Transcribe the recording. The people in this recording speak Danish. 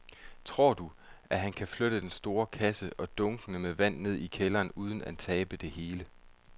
Tror du, at han kan flytte den store kasse og dunkene med vand ned i kælderen uden at tabe det hele?